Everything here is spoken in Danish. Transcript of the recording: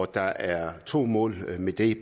der er to mål med det